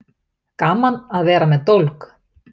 Gaman að vera með dólg